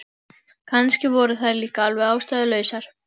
Kannski voru þær líka alveg ástæðulausar.